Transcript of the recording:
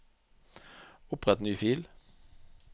Opprett ny fil